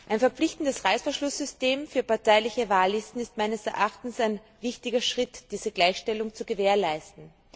Ein verpflichtendes Reißverschlusssystem für parteiliche Wahllisten ist meines Erachtens ein wichtiger Schritt, um diese Gleichstellung zu gewährleisten.